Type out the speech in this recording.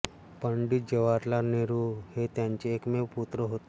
पंडित जवाहरलाल नेहरू हे त्यांचे एकमेव पुत्र होते